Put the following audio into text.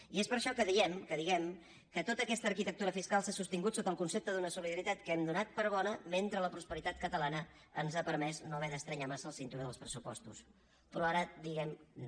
i és per això que diem que tota aquesta arquitectura fiscal s’ha sostingut sota el concepte d’una solidaritat que hem donat per bona mentre la prosperitat catalana ens ha permès no haver d’estrènyer massa el cinturó dels pressupostos però ara diem no